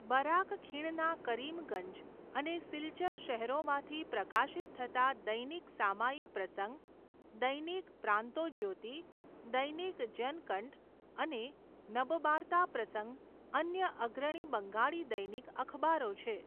Barack ખીણના કરીમગંજ અને સિલ્ચર શહેરોમાંથી પ્રકાશિત થતાં દૈનિક સામયિક પ્રસંગ, દૈનિક પ્રાંતોજ્યોતિ, દૈનિક જનકંઠ અને નબબાર્તા પ્રસંગ અન્ય અગ્રણી બંગાળી દૈનિક અખબારો છે.